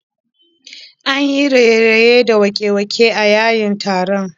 An yi raye-raye da waƙe-waƙe a yayin taron